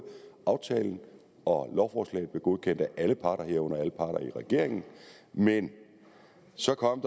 aftalen og lovforslaget blev godkendt af alle parter herunder alle parter i regeringen men så kom